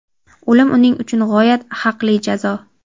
O‘lim uning uchun g‘oyat haqli jazo.